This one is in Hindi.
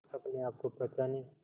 अपने आप को पहचाने